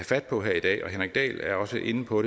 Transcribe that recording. fat på her i dag og henrik dahl er også inde på